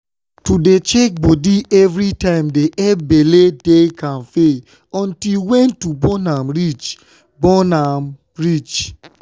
to dey check nody evrytimedey epp belle dey kampe until wen to born am reach. born am reach.